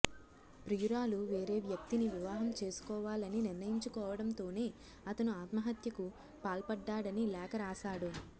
ప్రియురాలు వేరే వ్యక్తిని వివాహం చేసుకోవాలని నిర్ణయించుకోవడంతోనే అతను ఆత్మహత్యకు పాల్పడ్డాడని లేఖ రాశాడు